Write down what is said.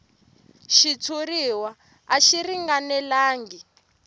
xitshuriwa a xi ringanelangi